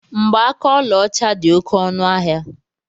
Mgbaaka ọlaọcha dị oké ọnụ ahịa.